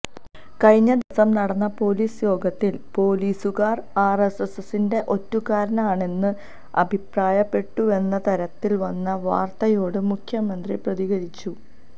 കഴിഞ്ഞ ദിവസം നടന്ന പോലീസ് യോഗത്തില് പോലീസുകാര് ആര് എസ് എസിന്റെ ഒറ്റുകാരാണെന്ന് അഭിപ്രായപ്പെട്ടുവെന്നതരത്തില് വന്ന വാര്ത്തയോട് മുഖ്യമന്ത്രി പ്രതികരിച്ചു